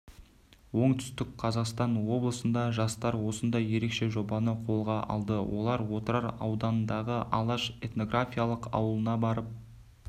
оңтүстік қазақстан облысында жастар осындай ерекше жобаны қолға алды олар отырар ауданындағы алаш этнографиялық ауылына барып